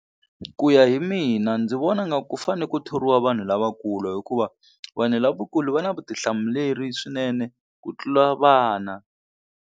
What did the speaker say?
Ku ya hi mina ndzi vona nga ku fane ku thoriwa vanhu lavakulu hikuva vanhu lavakulu va na vutihlamuleri swinene ku tlula vana.